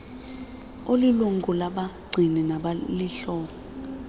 olilungu labagcini nabahloli